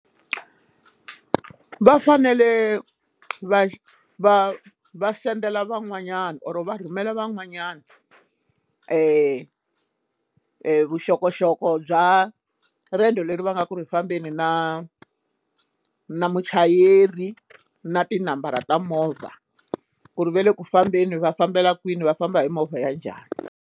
Va fanele va va va sendela van'wanyana or va rhumela van'wanyana vuxokoxoko bya riendzo leri va nga ku fambeni na na muchayeri na tinambara ta movha ku ri va le ku fambeni va fambela kwini va famba hi movha ya njhani.